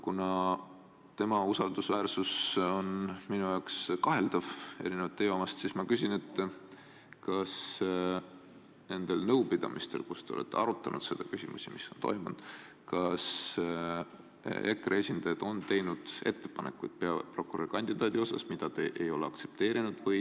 Kuna erinevalt teie omast on tema usaldusväärsus minu silmis kaheldav, siis ma küsin: kas nendel nõupidamistel, kus te olete peaprokuröri küsimust arutanud, on EKRE esindajad välja käinud kandidaadi, keda te ei ole aktsepteerinud?